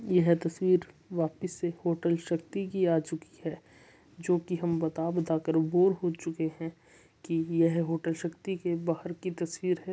यह तस्वीर वापिस से होटल शक्ति की आ चुकी है जो की हम बता-बता कर बोर हो चुके हैं की ये है होटल शक्ति के बाहर की तस्वीर है।